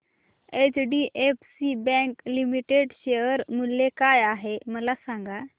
HDFC bank limited share मूल्य काय आहे मला सांगा